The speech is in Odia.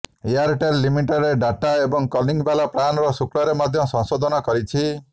ଏୟାରଟେଲ୍ ଲିମିଟେଡ୍ ଡାଟା ଏବଂ କଲିଂ ବାଲା ପ୍ଲାନର ଶୁଳ୍କରେ ମଧ୍ୟ ସଂଶୋଧନ କରିଛି